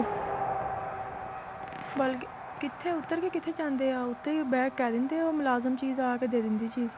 ਬਲਕਿ ਕਿੱਥੇ ਉਤਰ ਕੇ ਕਿੱਥੇ ਜਾਂਦੇ ਆ ਉਹ ਤੇ ਬਹਿ ਕੇ ਕਹਿ ਦਿੰਦੇ ਆ ਉਹ ਮੁਲਾਜ਼ਮ ਚੀਜ਼ ਆ ਕੇ ਦੇ ਦਿੰਦੇ ਚੀਜ਼